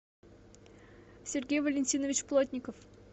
сергей валентинович плотников